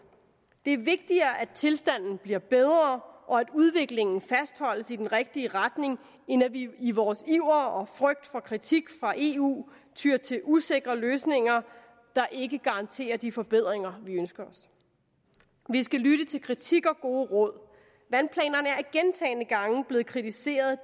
det er vigtigere at tilstanden bliver bedre og udviklingen fastholdes i den rigtige retning end at vi i vores iver og frygt for kritik fra eu tyer til usikre løsninger der ikke garanterer de forbedringer vi ønsker os vi skal lytte til kritik og gode råd vandplanerne er gentagne gange blevet kritiseret